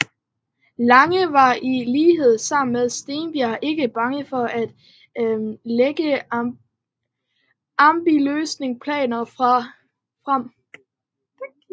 Lange var i lighed med Steenberg ikke bange for at lægge ambitiøse planer frem